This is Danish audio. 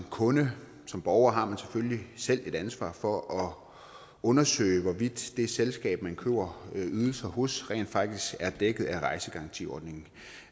kunde som borger har man selvfølgelig selv et ansvar for at undersøge hvorvidt det selskab man køber ydelser hos rent faktisk er dækket af rejsegarantiordningen